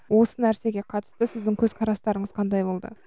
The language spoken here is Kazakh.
осы нәрсеге қатысты сіздің көзқарастарыңыз қандай болды